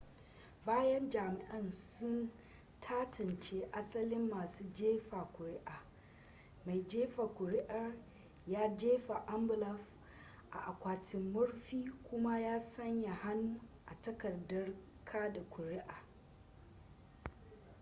bayan jami'ai sun tantance asalin masu jefa kuri'a mai jefa kuri'ar ya jefa ambulaf a akwatin murfin kuma ya sanya hannu a takardar kada kuri'a